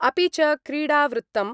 अपि च क्रीडावृत्तम्